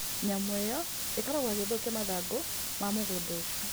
Nyamũ ĩyo ĩkoragwo ĩgĩthũkia mathangũ ma mũgũnda ũcio.